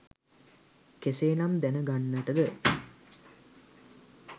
කෙසේනම් දැනගන්ට ද?